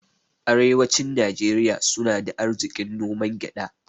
Arewacin Nijeriya suna da arzikin noman gyada